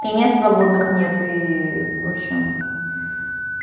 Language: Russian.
и мест свободных нет и в общем